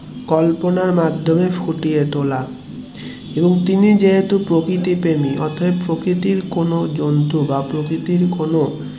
কল্পনার মাধ্যমে ফুটিয়ে তোলা এবং তিনি যেহেতু প্রকৃতি প্রেমিক তাই প্রকৃতির কোনো জন্তু বা প্রকৃতির কোন জন্তু বা প্রকৃতির কোন